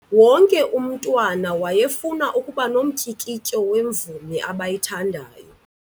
Wonke umntwana wayefuna ukuba nomtyikityo wemvumi abayithandayo.